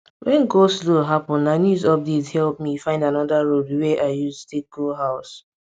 wen goslow happen na news update help me find anoda road wey i use take go house